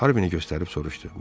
Harvini göstərib soruşdu: